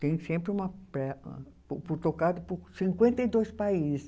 Tem sempre uma pre. Tocado por cinquenta e dois países.